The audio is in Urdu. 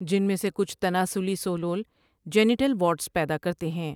جنمیں سے کچھ تناسلی ثولول جینیٹل واٹز پیدا کرتے ہیں ۔